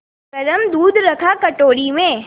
गरम दूध रखा कटोरी में